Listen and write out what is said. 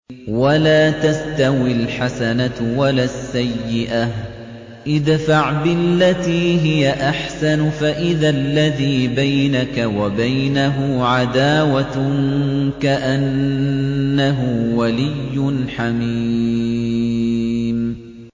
وَلَا تَسْتَوِي الْحَسَنَةُ وَلَا السَّيِّئَةُ ۚ ادْفَعْ بِالَّتِي هِيَ أَحْسَنُ فَإِذَا الَّذِي بَيْنَكَ وَبَيْنَهُ عَدَاوَةٌ كَأَنَّهُ وَلِيٌّ حَمِيمٌ